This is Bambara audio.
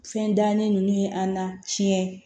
Fɛn dannen ninnu ye an na tiɲɛ